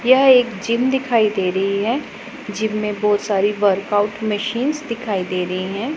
यह एक जिम दिखाई दे रहीं हैं जिम में बहोत सारी वर्कआउट मशीनस दिखाई दे रहीं हैं।